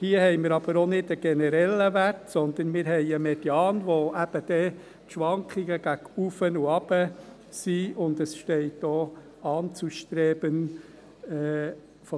Hier haben wir aber auch nicht einen generellen Wert, sondern einen Median, der eben dann die Schwankungen gegen oben und unten beinhaltet, und es steht auch «anzustreben».